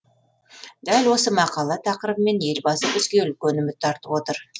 дәл осы мақала тақырыбымен елбасы бізге үлкен үміт артып отыр